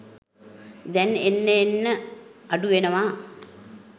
දැන් එන්න එන්න අඩුවෙනවා